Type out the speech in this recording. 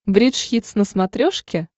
бридж хитс на смотрешке